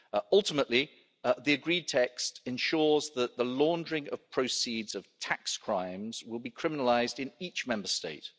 Ultimately, the agreed text ensures that the laundering of proceeds of tax crimes will be criminalised in each Member State.